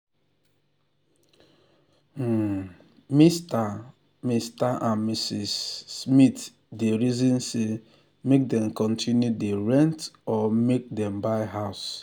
um mr mr and mrs um smith dey reason say make dem continue dey rent or make um dem buy house.